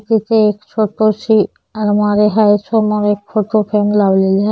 इथे एक छोटी सी अलमारी हाय समोर एक फोटो फ्रेम लावलेले --